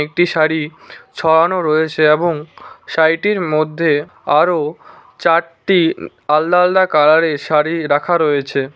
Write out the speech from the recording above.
একটি শাড়ি ছড়ানো রয়েছে এবং শাড়িটির মধ্যে আরও চারটি উম আলদা আলদা কালারের শাড়ি রাখা রয়েছে।